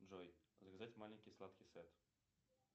джой заказать маленький сладкий сет